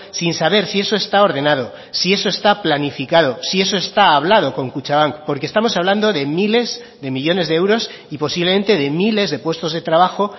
sin saber si eso está ordenado si eso está planificado si eso está hablado con kutxabank porque estamos hablando de miles de millónes de euros y posiblemente de miles de puestos de trabajo